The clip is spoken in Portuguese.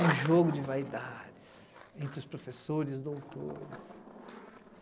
O jogo de vaidades entre os professores e doutores.